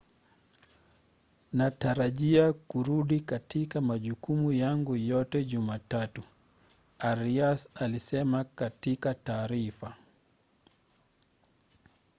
natarajia kurudi katika majukumu yangu yote jumatatu,” arias alisema katika taarifa